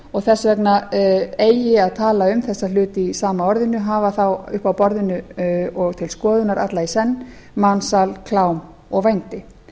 og þess vegna eigi að tala um þessa hluti í sama orðinu hafa þá uppi á borðinu og til skoðunar alla í senn mansal klám og vændi